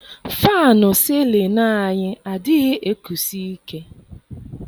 Fannụ sịlịnụ anyị anaghị ekusi ike.